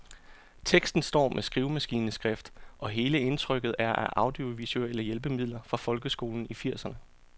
Teksten står med skrivemaskineskrift, og hele indtrykket er af audiovisuelle hjælpemidler fra folkeskolen i firserne.